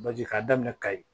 Baji k'a daminɛ kayi